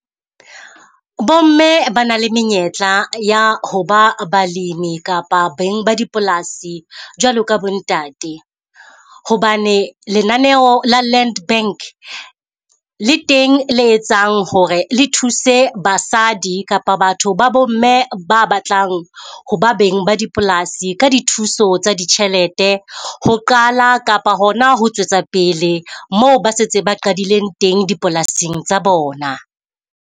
Bo mme ba na le menyetla ya ho ba balemi kapa beng ba dipolasi jwalo ka bo ntate. Hobane lenaneo la land bank le teng le etsang hore le thuse basadi kapa batho ba bo mme ba batlang ho ba beng ba dipolasi ka dithuso tsa ditjhelete. Ho qala kapa hona ho tswetsa pele moo ba setse ba qadileng teng dipolasing tsa bona.